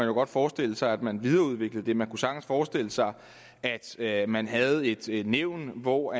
jo godt forestille sig at man videreudviklede det og man kunne sagtens forestille sig at at man havde et et nævn hvor